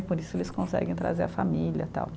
E por isso eles conseguem trazer a família, tal